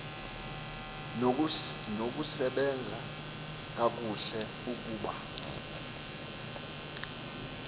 nokusebenza kakuhle ukuba